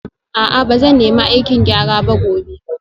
A'a ba zan nemi aikin gyara ba gobe